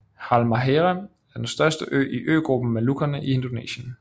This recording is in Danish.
Halmahera er den største ø i øgruppen Molukkerne i Indonesien